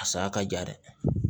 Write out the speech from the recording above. A saya ka ja dɛ